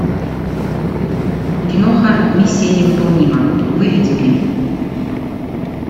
киноха миссия невыполнима выведи мне